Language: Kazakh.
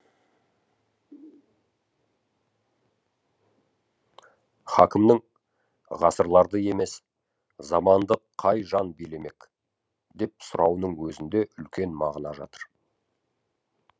хакімнің ғасырларды емес заманды қай жан билемек деп сұрауының өзінде үлкен мағына жатыр